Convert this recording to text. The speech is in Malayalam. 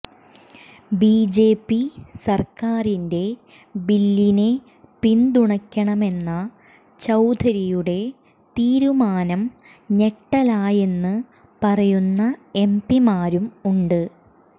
ബിജെപി സർക്കാരിന്റെ ബില്ലിനെ പിന്തുണയ്ക്കണമെന്ന ചൌധരിയുടെ തീരുമാനം ഞെട്ടലായെന്ന് പറയുന്ന എംപിമാരും ഉണ്ട്